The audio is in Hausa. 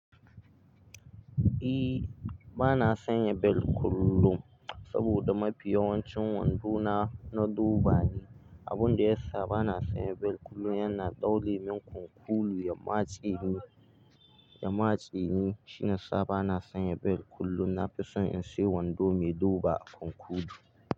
E, ba na sanya bel kullum saboda mafi yawancin wando na na roba ne, abun da ya sa ba na sanya bel kullum yana ɗaure min kunkulu ya matse ni, ya matse ni shiyasa bana sanya bel kullum. Na fi son sai wando mai roba a kunkulu.